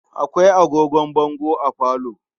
Akwai agogon bango a falo.